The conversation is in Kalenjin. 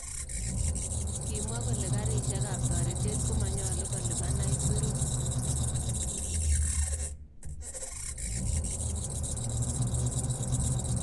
Kimwaa kole karishekap toreteet komanyolu kolipan aisurut